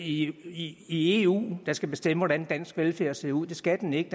i eu der skal bestemme hvordan dansk velfærd skal se ud det skal den ikke